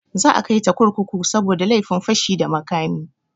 Za a kaita kurkuku saboda laifin fashi da makami.